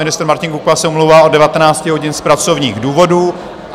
Ministr Martin Kupka se omlouvá od 19 hodin z pracovních důvodů.